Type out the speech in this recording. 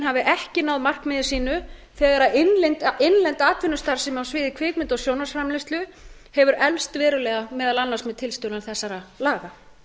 hafi ekki náð markmiði sínu þegar innlend atvinnustarfsemi á sviði kvikmynda og sjónvarpsframleiðslu hefur eflst verulega meðal annars með tilstuðlan þessara laga